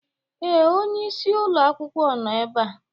Ee, onye isi ụlọ akwụkwọ nọ ebe a.